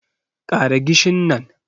Ƙara gishin nan